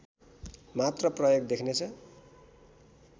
मात्र प्रयोग देख्नेछ